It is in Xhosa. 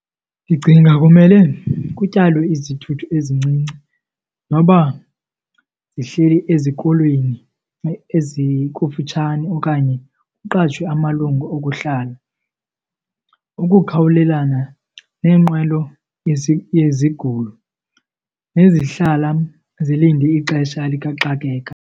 Ndicinga kumele kutyalwe izithuthi ezincinci noba zihleli ezikolweni ezikufitshane okanye kuqashwe amalungu okuhlala ukukhawulelana neenqwelo yezigulo nezihlala zilinde ixesha likaxakeka.